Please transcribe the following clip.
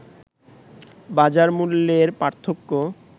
বাজার মূল্যের পার্থক্য